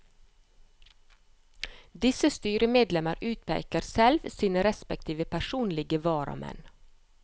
Disse styremedlemmer utpeker selv sine respektive personlige varamenn.